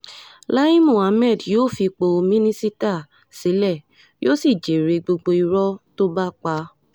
láì muhammed yóò fi ipò mínísítà sílẹ̀ yóò sì jèrè gbogbo irọ́ tó bá pa